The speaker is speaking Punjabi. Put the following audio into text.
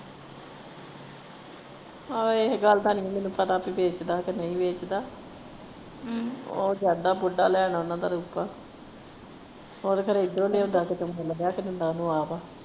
ਆਹੋ ਇਹ ਗੱਲ ਦਾ ਨਹੀਂ ਮੈਨੂੰ ਪਤਾ ਕਿ ਵੇਚਦਾ ਕੇ ਨਹੀਂ ਵੇਚਦਾ ਉਹ ਜਾਂਦਾ ਬੁੱਢਾ ਲੈਣ ਓਹਨਾ ਦਾ ਉਹ ਤੇ ਖਰੇ ਏਧਰੋਂ ਲਿਆਉਂਦਾ ਕੀਤੇ ਮਿਲ ਗਿਆ ਇਹਨਾਂ ਨੂੰ ਆਪ।